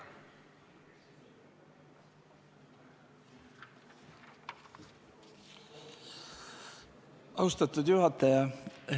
Austatud juhataja!